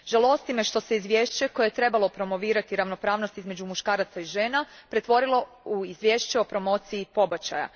Žalosti me što se izvješće koje je trebalo promovirati ravnopravnost između muškaraca i žena, pretvorilo u izvješće o promociji pobačaja.